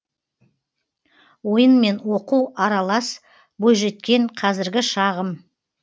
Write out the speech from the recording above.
ойын мен оқу аралас бойжеткен қазіргі шағым